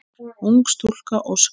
Ung stúlka óskar.